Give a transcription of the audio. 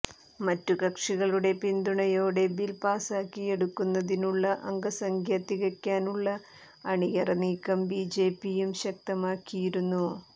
മറ്റു കക്ഷികളുടെ പിന്തുണയോടെ ബിൽ പാസാക്കിയെടുക്കുന്നതിനുള്ള അംഗസംഖ്യ തികയ്ക്കാനുള്ള അണിയറ നീക്കം ബിജെപിയും ശക്തമാക്കിയിരുന്നു